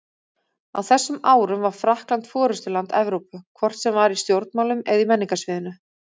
Á þessum árum var Frakkland forystuland Evrópu, hvort sem var í stjórnmálum eða á menningarsviðinu.